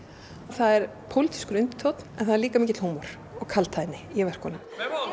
það er pólitískur undirtónn en það er líka mikill húmor og kaldhæðni í verkunum